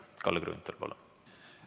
Kalle Grünthal, palun!